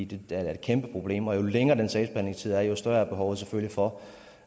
det er da et kæmpe problem og jo længere den sagsbehandlingstid er jo større er behovet selvfølgelig for